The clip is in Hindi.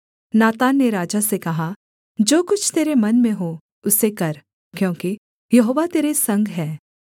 नातान ने राजा से कहा जो कुछ तेरे मन में हो उसे कर क्योंकि यहोवा तेरे संग है